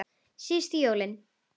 Síðustu jólin.